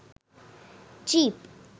jeep